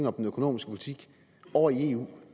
om den økonomiske politik over i eu